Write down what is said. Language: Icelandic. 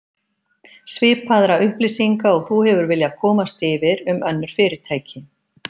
Svipaðra upplýsinga og þú hefur viljað komast yfir um önnur fyrirtæki